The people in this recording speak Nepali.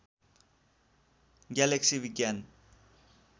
ग्यालेक्सी विज्ञान